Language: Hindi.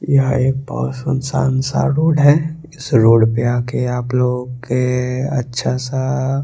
यहाँ एक बहोत सुनसान सा रोड है इस रोड पे आके आप लोग के अच्छा सा--